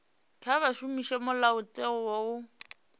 kha vha shumise mulayotewa u